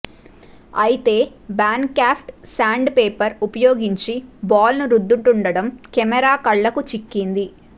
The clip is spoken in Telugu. అయితే బ్యాన్క్రాఫ్ట్ సాండ్ పేపర్ ఉపయోగించి బాల్ను రుద్దుతుండడం కెమెరా కళ్లకు చిక్కింది